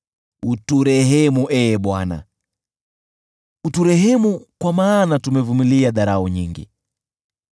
Uturehemu, Ee Bwana , uturehemu, kwa maana tumevumilia dharau nyingi.